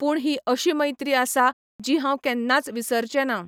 पूण ही अशी मैत्री आसा जी हांव केन्नाच विसरचेनां